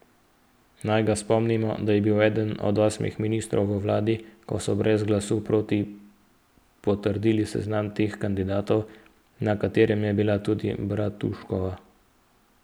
Naj ga spomnimo, da je bil eden od osmih ministrov v vladi, ko so brez glasu proti potrdili seznam treh kandidatov, na katerem je bila tudi Bratuškova.